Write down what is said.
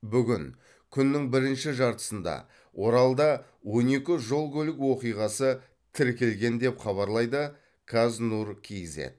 бүгін күннің бірінші жартысында оралда он екі жол көлік оқиғасы тіркелген деп хабарлайды қаз нұр кейзэт